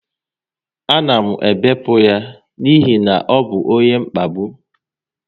A na m ebipụ ya n'ihi ọ bụ onye mkpagbu